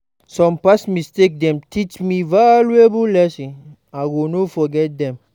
Some past mistakes dey teach me valuable lessons; I go no forget dem.